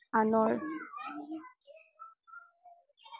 অনৰ